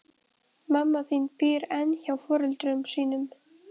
Mamma þín býr enn hjá foreldrum sínum.